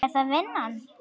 Er það vinnan?